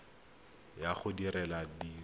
ya go di le robedi